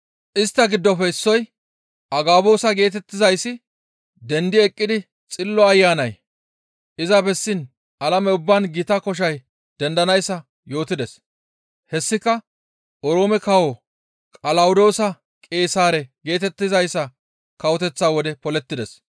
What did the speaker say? Istta giddofe issoy Agaboosa geetettizayssi dendi eqqidi Xillo Ayanay iza bessiin alame ubbaan gita koshay dendanayssa yootides. Hessika Oroome kawo Qalawodoosa Qeesaare geetettizayssa kawoteththa wode polettides.